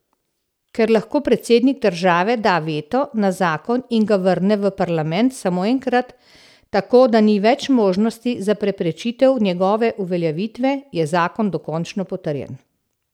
Ker lahko predsednik države da veto na zakon in ga vrne v parlament samo enkrat, tako da ni več možnosti za preprečitev njegove uveljavitve, je zakon dokončno potrjen.